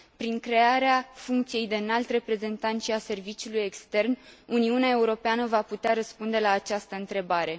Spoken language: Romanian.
Prin crearea funcției de Înalt Reprezentant și a serviciului extern, Uniunea Europeană va putea răspunde la această întrebare.